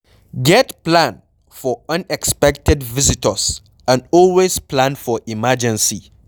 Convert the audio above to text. Get plan for unexpected visitors and always plan for emergency